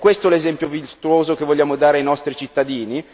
È questo l'esempio virtuoso che vogliamo dare ai nostri cittadini?